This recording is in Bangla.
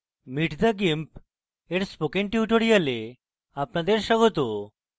meet the gimp এর spoken tutorial আপনাদের স্বাগত